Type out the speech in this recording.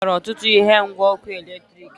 E bubatara ọtụtụ ihe ngwa ọkụ eletriki